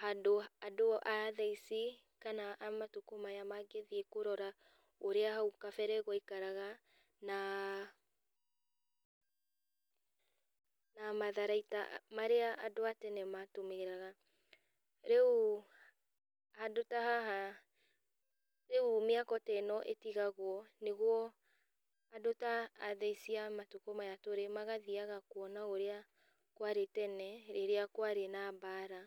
handũ andũ a thaici, kana a matukũ maya mangĩthiĩ kũrora ũrĩa hau kabere gwaikaraga, na na matharaita marĩa andũ a tene matũmĩraga. Rĩu handũ ta haha rĩu mĩako ta ĩno ĩtigagwo nĩguo andũ ta athaa ici cia matukũ maya tũrĩ magathiaga kuona ũrĩa kwarĩ tene, rĩrĩa kwarĩ na mbara.